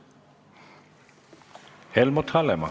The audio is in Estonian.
Helmut Hallemaa.